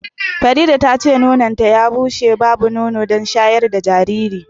Farida tace nononta ya bushe babu nono don shayar da jariri.